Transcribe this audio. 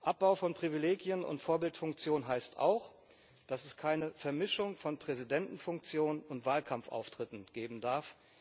Abbau von Privilegien und Vorbildfunktion heißt auch, dass es keine Vermischung von Präsidentenfunktion und Wahlkampfauftritten geben darf.